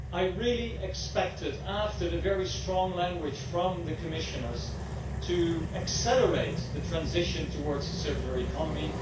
I really expected, after the very strong language from the Commissioners, an acceleration in the transition towards a circular economy.